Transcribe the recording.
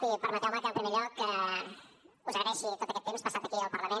i permeteu me que en primer lloc us agraeixi tot aquest temps passat aquí al parlament